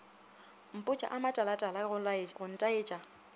mpotša a matalatala go ntaetša